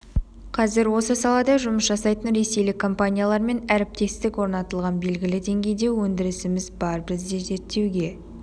қазір осы салада жұмыс жасайтын ресейлік компаниялармен әріптестік орнатылған белгілі деңгейде өндірісіміз бар бізде зерттеуге